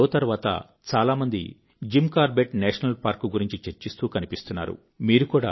ఈ షో తర్వాత చాలా మంది జిమ్ కార్బెట్ నేషనల్ పార్క్ గురించి చర్చిస్తూ కనిపిస్తున్నారు